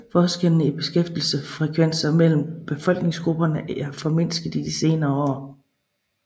Forskellene i beskæftigelsesfrekvenser mellem befolkningsgrupperne er mindsket i de senere år